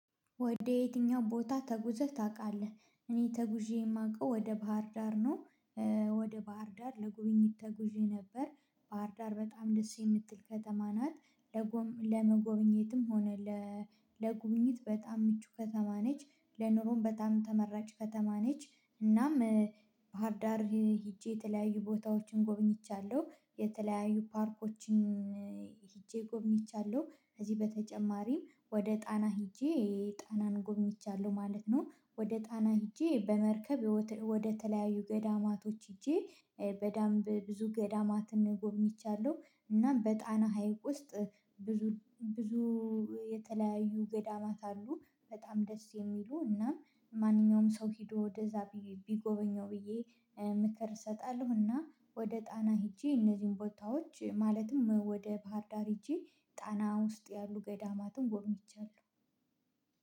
ወደ የትኛው ቦታ ተጉዘህ ታውቃለህ? እኔ ተጉዤ የማውቀው ወደ ባህር ዳር ነው ወደ ባህር ዳር ለጉብኝት ተጉዤ ነበር ባህርዳር በጣም ደስ የምትል ከተማ ናት ለመጎብኘትም ሆነ ለጉብኝት በጣም ምቹ ከተማ ነች ለኑሮም በጣም ተመራጭ ከተማ ነች እናም ባህርዳር ሄጄ የተለያዩ ቦታዎችን ጎብኝቻለሁ የተለያዩ ፓርኮችን ሄጄ ጎብኝቻለሁ ከዚህ በተጨማሪም ወደ ጣና ሄጄ ጣናን ጎብኝቻለሁ ማለት ነው ወደ ጣና ሄጄ በመርከብ ወደ ተለያዩ ገዳማቶች ሄጄ በደንብ ብዙ ገዳማትን ጎብኝቻለሁ እና በጣና ሀይቅ ውስጥ ብዙ ብዙ የተለያዩ ገዳማት አሉ በጣም ደስ የሚሉ እና ማንኛውም ሰው ሄዶ ወደዚያ ቢጎበኘው ብዬ ምክር እሰጣለሁ እና ወደ ጣና ሄጄ እነዚህን ቦታዎች ማለትም ወደ ባህር ዳር ሄጄ ጣና ውስጥ ያሉ ገዳማትን ጎብኝቻለሁ